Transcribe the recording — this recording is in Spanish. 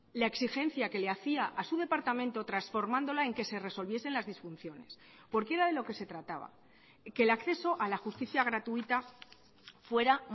la exigencia que le hacía a su departamento transformándola en que se resolviesen las disfunciones porque era de lo que se trataba que el acceso a la justicia gratuita fuera